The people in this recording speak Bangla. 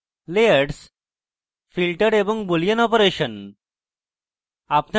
layers filters এবং boolean অপারেশন